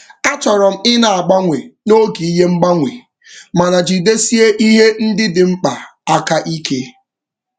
A chọrọ m ị na-agbanwe n'oge ihe mgbanwe mana jidesie ihe ndị dị mkpa aka ike.